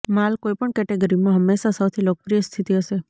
માલ કોઈપણ કેટેગરીમાં હંમેશા સૌથી લોકપ્રિય સ્થિતિ હશે